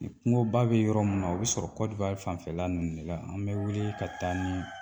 I kungoba bɛ yɔrɔ mun na o be sɔrɔ Côte d'Ivoire fanfɛla ninnu de la, an bɛ wuli ka taa nii